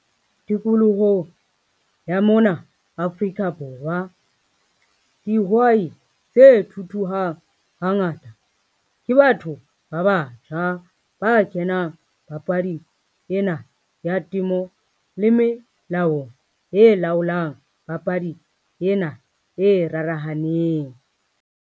Tikolohong ya mona Afrika Borwa, dihwai tse thuthuhang hangata ke batho ba batjha ba kenang papading ena ya temo le melaong e laolang papadi ena e rarahaneng.